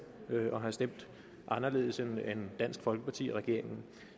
og have stemt anderledes end dansk folkeparti og regeringen